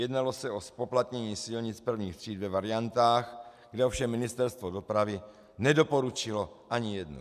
Jednalo se o zpoplatnění silnic prvních tříd ve variantách, kde ovšem Ministerstvo dopravy nedoporučilo ani jednu.